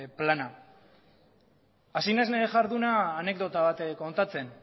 plana hasi naiz nire jarduna anekdota bat kontatzen